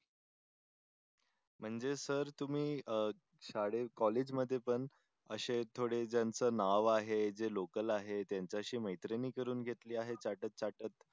म्हणजे सर तुम्ही अह शाळेत, कॉलेज मधे पण असे थोडे ज्यांचं नाव आहे, जे लोकल आहेत त्यांच्याशी मैत्री नि करून घेतली आहे चाटत चाटत.